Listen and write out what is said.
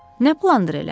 Nə plandır elə?